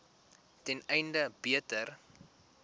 ten einde beter